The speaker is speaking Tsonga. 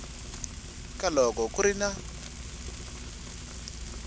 ka loko ku ri na